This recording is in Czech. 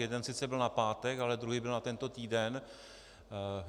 Jeden sice byl na pátek, ale druhý byl na tento týden.